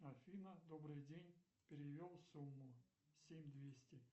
афина добрый день перевел сумму семь двести